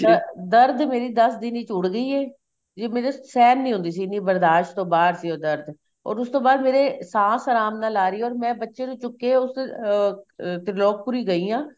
ਦ ਦਰਦ ਮੇਰੀ ਦੱਸ ਦਿਨ ਵਿੱਚ ਉੱਡ ਗਈ ਏ ਜੋ ਮੇਰੇ ਸਹਿਣ ਨਹੀਂ ਹੁੰਦੀ ਸੀ ਬਰਦਾਸ਼ ਤੋਂ ਬਾਹਰ ਸੀ ਉਹ ਦਰਦ or ਉਸ ਤੋਂ ਬਾਅਦ ਮੇਰੇ ਸਾਸ ਆਰਾਮ ਨਾਲ ਆ ਰਹੀ ਏ or ਮੈਂ ਬੱਚੇ ਨੂੰ ਚੁਕਿਆ ਉਸ ਅਹ ਤਿਰਲੋਕ ਪੂਰੀ ਗਈ ਆ